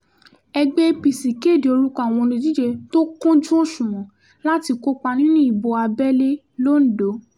ẹgbẹ́ apc kéde orúkọ àwọn olùdíje tó kúnjú òṣùwọ̀n láti kópa nínú ìbò abẹ́lé lodò